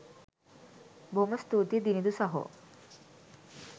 බොහොම ස්තූතියි දිනිඳු සහෝ